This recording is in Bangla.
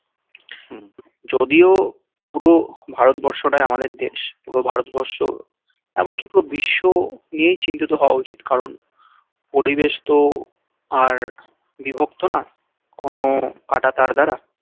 যদিও পুরো ভারতবর্ষ টাই আমাদের দেশ পুরো ভারতবর্ষ এমনকি পুরো বিশ্ব নিয়েই চিন্তিত হওয়া উচিত কারণ পরিবেশ তো আর বিভক্ত না কোনো কাঁটাতার দ্বারা